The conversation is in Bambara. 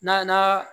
N'a na